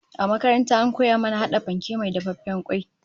A makaranta an koya mana hada fanke mai dafaffen kwai